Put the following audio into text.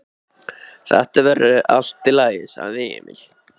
Þetta verður allt í lagi, sagði Emil.